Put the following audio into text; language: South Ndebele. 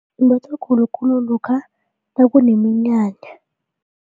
Imbathwa khulukhulu lokha nakuneminyanya.